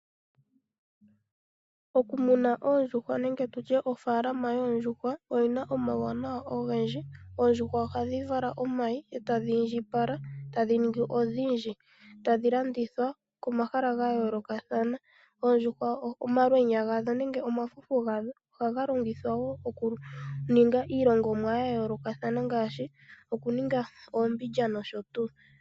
Okumuna oondjuhwa nenge ofaalama yoondjuhwa oyina omawunawa ogendji . Oondjuhwa ohadhivala omayi etadhi indjipala tadhi ningi odhindji eta dhi landithwa pomahala ga yoolokathana. Oondjuhwa omalweya gadho ohaga longithwa woo oku ninga iilongomwa ya yoolokathana ngaashi okuninga oombindja nosho tuu.